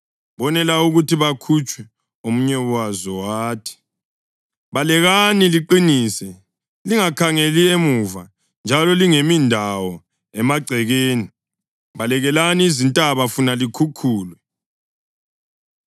Bonela ukuthi bakhutshwe, omunye wazo wathi, “Balekani liqinise! Lingakhangeli emuva, njalo lingemi ndawo emagcekeni! Balekelani ezintabeni funa likhukhulwe!”